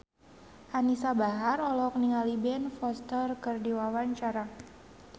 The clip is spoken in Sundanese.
Anisa Bahar olohok ningali Ben Foster keur diwawancara